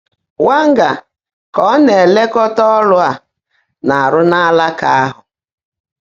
Wã́ńgè̀r kà ọ́ ná-èléekọ́tá ọ́rụ́ á ná-árụ́ n’áláká áhụ́.